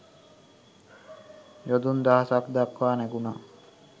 යොදුන් දහසක් දක්වා නැගුණා.